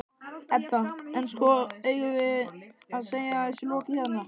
Edda: En, sko, eigum við að segja þessu lokið hérna?